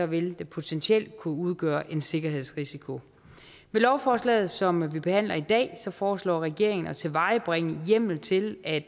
vil det potentielt kunne udgøre en sikkerhedsrisiko med lovforslaget som vi behandler i dag foreslår regeringen at tilvejebringe hjemmel til at